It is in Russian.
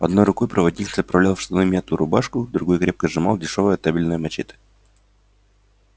одной рукой проводник заправлял в штаны мятую рубашку в другой крепко сжимал дешёвое табельное мачете